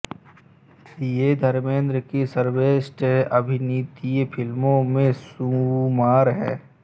ये धर्मेन्द्र की सर्वश्रेष्ठ अभिनीत फ़िल्मो मे शुमार है